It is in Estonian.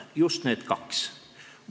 Just need kaks asja.